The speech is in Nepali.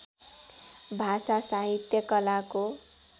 भाषा साहित्य कलाको